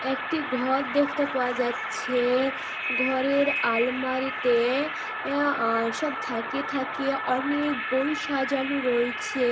একটি ঘর দেখতে পাওয়া যাচ্ছে-এ-এ ঘরের আলমারিতে-এ-এ আ সব থাকে থাকে অনেক বই সাজানো রয়েছ-এ--